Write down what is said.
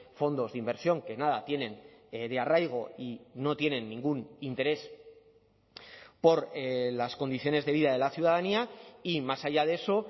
fondos de inversión que nada tienen de arraigo y no tienen ningún interés por las condiciones de vida de la ciudadanía y más allá de eso